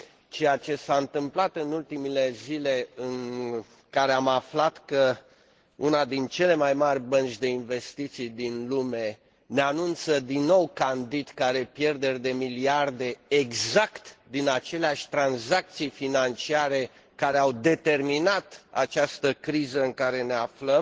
Ceea ce s a întâmplat în ultimele zile, în care am aflat că una din cele mai mari bănci de investiții din lume ne a anunță din nou, candid, că are pierderi de miliarde, exact din aceleași tranzacții financiare care au determinat această criză în care ne aflăm,